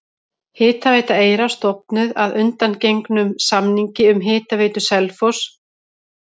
Hitaveita Eyra stofnuð að undangengnum samningi við Hitaveitu Selfoss um kaup á vatni.